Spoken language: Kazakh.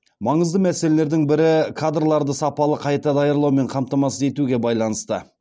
маңызды мәселелердің бірі кадрларды сапалы қайта даярлаумен қамтамасыз етуге байланысты